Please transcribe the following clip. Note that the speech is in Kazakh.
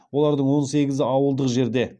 олардың он сегізі ауылдық жерде